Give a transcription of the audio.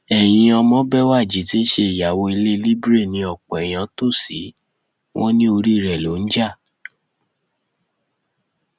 ẹyin ọmọbéwájì tí í ṣe ìyàwó ilé libre ni ọpọ èèyàn tó ṣí wọn ní orí rẹ ló ń jà